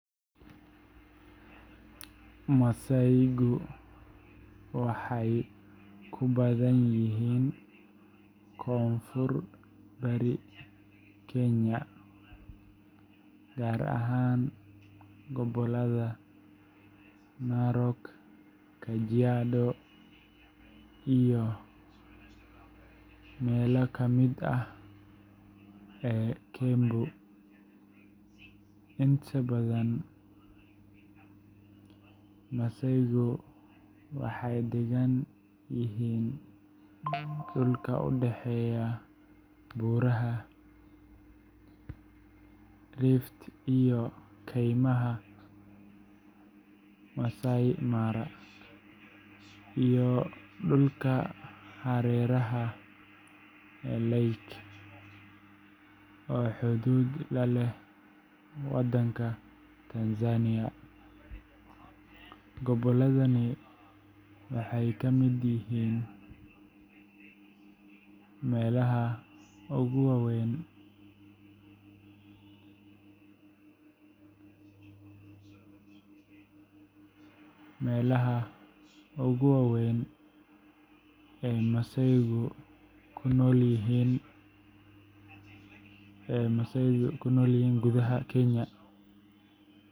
Masaaygu waxay ku badan yihiin koonfur-bari Kenya, gaar ahaan gobollada Narok, Kajiado, iyo parts ka mid ah Kembu County. Inta badan masaaygu waxay deggan yihiin dhulka u dhexeeya Buuraha Rift Valley iyo Kaymaha Amboseli, Maasai Mara, iyo dhulka hareeraha Lake Natron oo xuduud la leh Tanzania. Gobolladani waxay ka mid yihiin meelaha ugu waaweyn ee masaaygu ku nool yihiin gudaha Kenya.